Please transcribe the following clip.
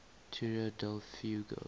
tierra del fuego